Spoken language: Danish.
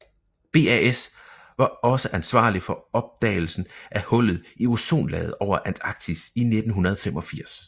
BAS var også ansvarlig for opdagelsen af hullet i ozonlaget over Antarktis i 1985